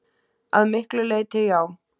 Að miklu leyti já.